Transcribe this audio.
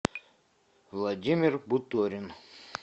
владимир буторин